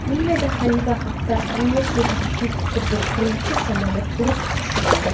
Liviyada Xalifa Xaftar armiyasiga tegishli qiruvchi samolyot urib tushirildi.